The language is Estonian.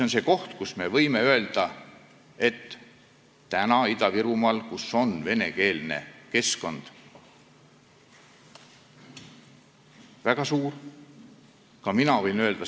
Me võime öelda, et Ida-Virumaal on keskkond väga suures osas venekeelne.